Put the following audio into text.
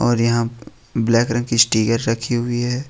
और यहां ब्लैक रंग की स्टीकर रखी हुई है।